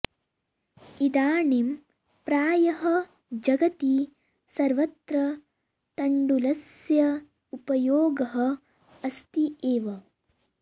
इदानीं प्रायः जगति सर्वत्र तण्डुलस्य उपयोगः अस्ति एव